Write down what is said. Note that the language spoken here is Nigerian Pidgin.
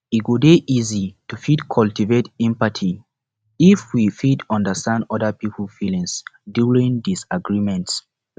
e go dey easy to fit cultivate empathy if we fit understand oda pipo feelings during disagreement